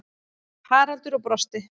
Haraldur og brosti.